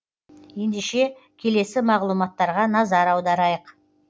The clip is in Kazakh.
ендеше келесі мағлұматтарға назар аударайық